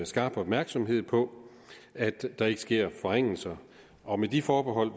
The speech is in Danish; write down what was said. skarp opmærksomhed på at der ikke sker forringelser og med de forbehold